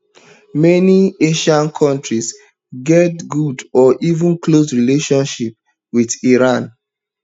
many asian kontris get good or even close relationship wit iran